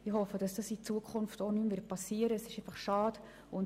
Ich hoffe, das wird in Zukunft nicht mehr geschehen.